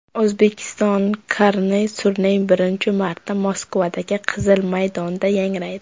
O‘zbekiston karnay-surnayi birinchi marta Moskvadagi Qizil maydonda yangraydi .